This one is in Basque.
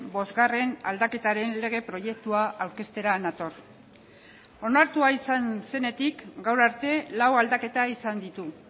bosgarren aldaketaren lege proiektua aurkeztera nator onartua izan zenetik gaur arte lau aldaketa izan ditu